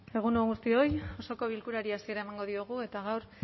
egun on guztioi osoko bilkurari hasiera emango diogu eta gaur